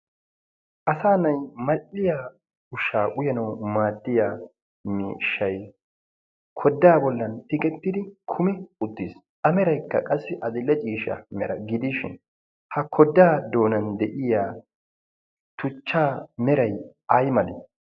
asa na'ay madhdhiya ushaa uyanau maattiya mishshai kodaa bollan tikettidi kumi uttiis ameraikka qassi adille ciisha mera gidiishin ha kodaa doonan de'iya tuchchaa meray ay meree?